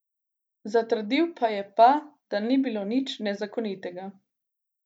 Zatrdil pa je pa, da ni bilo nič nezakonitega.